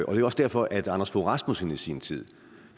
og det var også derfor at anders fogh rasmussen i sin tid